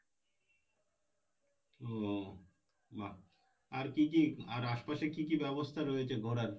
ও বাহ আর কী কী আর আশপাশে কী কী ব্যাবস্থা রয়েছে ঘোরার?